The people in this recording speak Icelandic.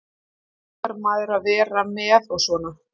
Þá fær maður að vera með og svona.